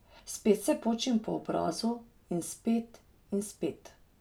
Spet se počim po obrazu, in spet, in spet.